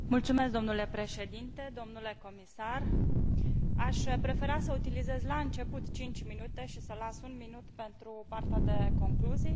Domnule președinte, domnule comisar, aș prefera să utilizez la început 5 minute și să las un minut pentru partea de concluzii.